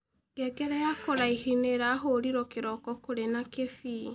Ngengere ya kũraĩhĩ nĩĩrahũrĩrwo kĩroko kũrĩ na kĩbĩĩ